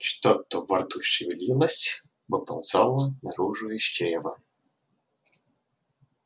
что-то во рту шевелилось выползало наружу из чрева